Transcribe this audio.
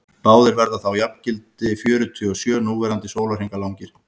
báðir verða þá jafngildi fjörutíu og sjö núverandi sólarhringa langir